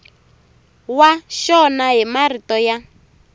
wa xona hi marito ya